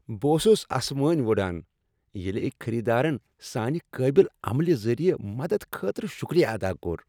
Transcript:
بہٕ اوسس اسمٲنۍ ؤڑان ییٚلہِ أکۍ خریدارن سانہِ قٲبل عملہِ ذٔریع مدد خٲطرٕ شکریہ ادا کوٚر۔